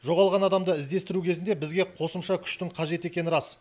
жоғалған адамды іздестіру кезінде бізге қосымша күштің қажет екені рас